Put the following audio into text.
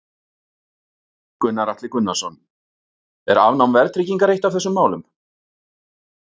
Gunnar Atli Gunnarsson: Er afnám verðtryggingar eitt af þessum málum?